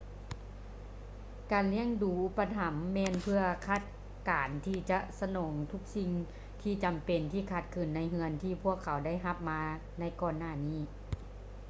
ການລ້ຽງດູອຸປະຖໍາແມ່ນເພື່ອຄາດການທີ່ຈະສະໜອງທຸກສິ່ງທີ່ຈຳເປັນທີ່ຂາດເຂີນໃນເຮືອນທີ່ພວກເຂົາໄດ້ຮັບມາໃນກ່ອນໜ້ານີ້